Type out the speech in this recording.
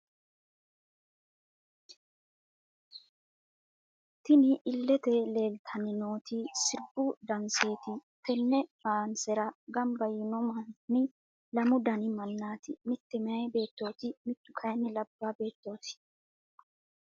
Tinni illete leelitanni nooti siribu daanseti tenne faansera gamba yino Mani lamu Dani manaati mitte miyaa beettoti mittu kayiini labaa beettoti.